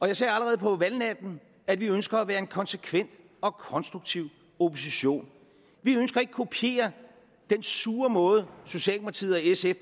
jeg sagde allerede på valgnatten at vi ønsker at være en konsekvent og konstruktiv opposition vi ønsker ikke at kopiere den sure måde socialdemokratiet og sf